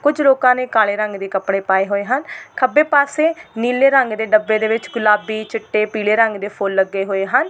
ਕੁੱਝ ਲੋਕਾਂ ਨੇ ਕਾਲੇ ਰੰਗ ਦੇ ਕਪੜੇ ਪਾਏ ਹੋਏ ਹਨ ਖੱਬੇ ਪਾਸੇ ਨੀਲੇ ਰੰਗ ਦੇ ਡੱਬੇ ਦੇ ਵਿੱਚ ਗੁਲਾਬੀ ਚਿੱਟੇ ਪੀਲੇ ਰੰਗ ਦੇ ਫੁੱਲ ਲੱਗੇ ਹੋਏ ਹਨ।